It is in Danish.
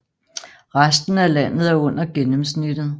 Resten af landet er under gennemsnittet